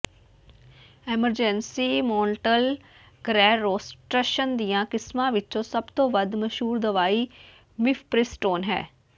emergency ਮੌਨਟਲ ਗਰੈਰਰੋਸਟਸ਼ਨ ਦੀਆਂ ਕਿਸਮਾਂ ਵਿੱਚੋਂ ਸਭ ਤੋਂ ਵੱਧ ਮਸ਼ਹੂਰ ਦਵਾਈ ਮਿਫਪ੍ਰਿਸਟੋਨ ਹੈ